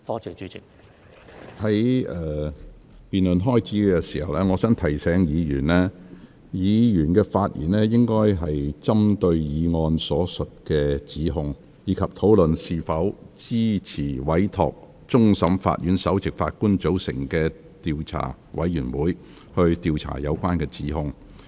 在這項議案辯論開始前，我想提醒議員，議員發言應針對議案所述的指控，以及討論是否支持委托終審法院首席法官組成調查委員會，以調查有關指控。